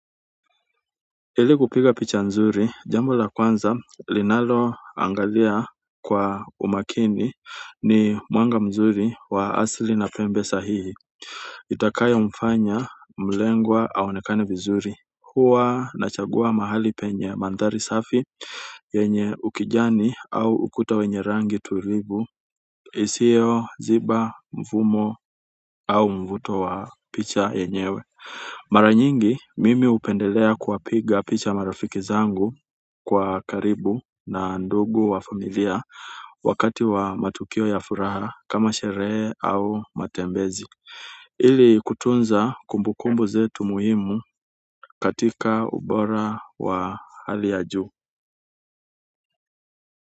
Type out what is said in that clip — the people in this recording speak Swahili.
Ili kupiga picha nzuri jambo la kwanza linalo angalia kwa umakini ni mwanga mzuri wa asli na pembe sahihi itakayo mfanya mlengwa aonekane vizuri huwa nachagua mahali penye mandhari safi yenye ukijani au ukuta wenye rangi tulivu isio ziba mvumo au mvuto wa picha yenyewe mara nyingi mimi hupendelea kuwapiga picha marafiki zangu kwa karibu na ndugu wa familia wakati wa matukio ya furaha kama sherehe au matembezi ili kutunza kumbu kumbu zetu muhimu katika ubora wa hali ya juu.